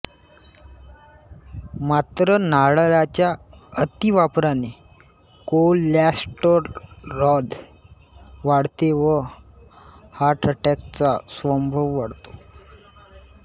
मात्र नारळाच्या अतिवापराने कोलॅस्टेराॅल वाढते व हार्टअटॅकचा संभव वाढतो